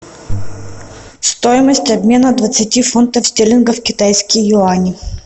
стоимость обмена двадцати фунтов стерлингов в китайские юани